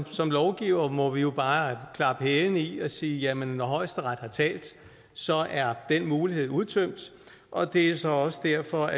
som lovgivere må vi jo bare klappe hælene i og sige jamen højesteret har talt så er den mulighed udtømt og det er så også derfor